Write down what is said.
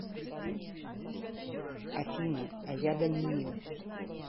афина а я даниил